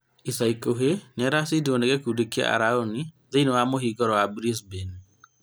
Ica ikuhĩ nĩaracindiruo nĩ gĩkundi kĩa araoni thĩinĩ wa mũhinguro wa Brisbane